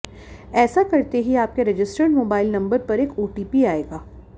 ऐसा करते ही आपके रजिस्टर्ड मोबाइल नंबर पर एक ओटीपी आएगा